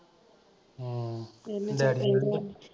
ਹਮ daddy ਇਹਨਾਂ ਦਾ